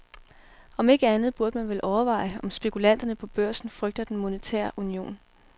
Om ikke andet burde man vel overveje, om spekulanterne på børsen frygter den monetære union.